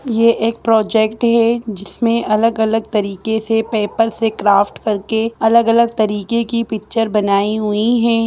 ये एक प्रोजेक्ट है जिसमें अलग-अलग तरीके से पपेर से क्राफ्ट करके अलग-अलग तरीके की पिक्चर बनाई हुई है।